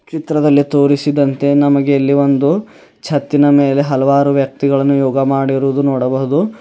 ಚಿತ್ರದಲ್ಲಿ ತೋರಿಸಿದಂತೆ ನಮಗೆ ಇಲ್ಲಿ ಒಂದು ಚತ್ತಿನ ಮೇಲೆ ಹಲವಾರು ವ್ಯಕ್ತಿಗಳನ್ನು ಯೋಗ ಮಾಡಿರುವುದು ನೋಡಬಹುದು.